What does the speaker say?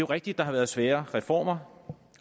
rigtigt der har været svære reformer